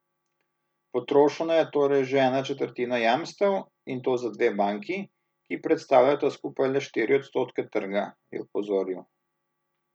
Potrošena je torej že ena četrtina jamstev, in to za dve banki, ki predstavljata skupaj le štiri odstotke trga, je opozoril.